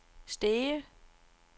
Stege